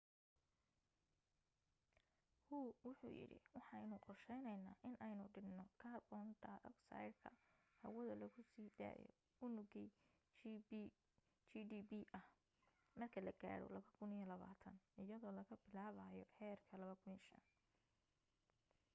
hu wuxu yidhi waxaynu qorsheynaynaa inaynu dhinno kaarboon dhayogsaydhka hawada lagu sii daayo unugii gdp ah marka la gaaro 2020 iyadoo laga bilaabayo heerka 2005